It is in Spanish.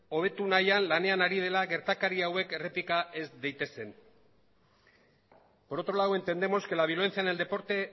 hobetu nahian lanean ari dela gertakari hauek errepika ez daitezen por otro lado entendemos que la violencia en el deporte